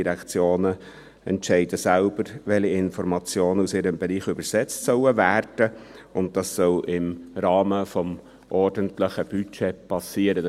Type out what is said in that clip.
Die Direktionen entscheiden selbst, welche Informationen aus ihrem Bereich übersetzt werden sollen, und dies soll im Rahmen des ordentlichen Budgets geschehen.